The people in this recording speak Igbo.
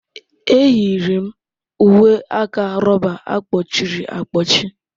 Enyiri m uwe aka rọba a kpọchiri akpọchi.